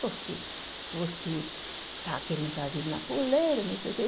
Porque você está querendo trazer ele na coleira, não sei o quê.